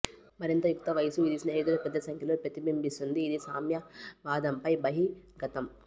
మరింత యుక్తవయస్సు ఇది స్నేహితులు పెద్ద సంఖ్యలో ప్రతిబింబిస్తుంది ఇది సామ్యవాదంపై బహిర్గతం